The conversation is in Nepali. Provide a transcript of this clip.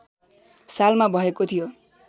सालमा भएको थियो